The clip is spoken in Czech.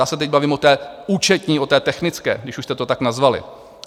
Já se teď bavím o té účetní, o té technické, když už jste to tak nazvali.